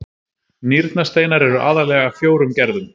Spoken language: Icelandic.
Nýrnasteinar eru aðallega af fjórum gerðum.